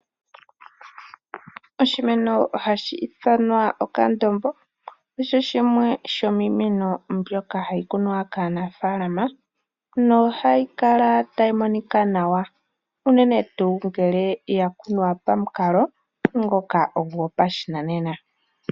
Oshimeno hashi ithanwa okandombo osho shimwe shomiimeno mbyoka hayi kunwa kaanafaalama nohayi kala tayi monika nawa, unene tuu ngele ya kunwa pamukalo ngoka gopashinanena.